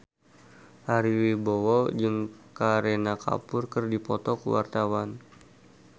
Ari Wibowo jeung Kareena Kapoor keur dipoto ku wartawan